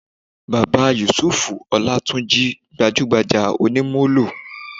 Bàbá Yùsúùfù Ọlátúnjí gbajúgbajà onímóló